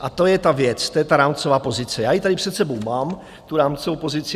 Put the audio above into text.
A to je ta věc, to je ta rámcová pozice, já ji tady před sebou mám, tu rámcovou pozici.